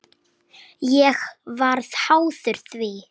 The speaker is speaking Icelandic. Ég varð háður því.